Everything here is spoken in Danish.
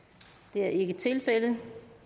det er ikke tilfældet